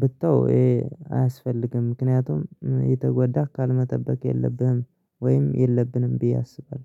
ብተው ይሄ አያስፈልግም ምክንያቱም የተጎዳህ ቃል መጠበቅ የለብህም ወይም የለብንም ብዬ አስባለሁ